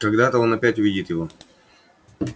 когда-то он опять увидит его